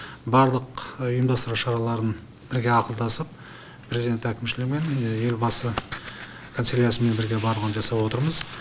барлық ұйымдастыру шараларын бірге ақылдасып президент әкімшілігімен елбасы канцеляриясымен бірге барлығын жасап отырмыз